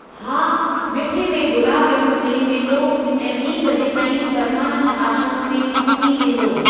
हा, मिठे में गुलाब ॼमूं मिली वेंदो ऐं ॿीं बजे ताईं परमानंद आश्रम में पहुची वेंदो।